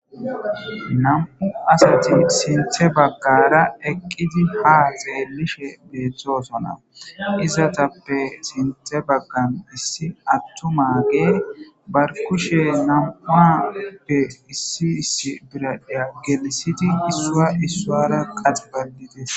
nam7u asati sinthe baggara eqqidi ha zeellishe beeththoosona izatappe sinthe baggan issi attumage barkushe nam7uappe issi issi biraya gelisidi issua issuara qaxi ballites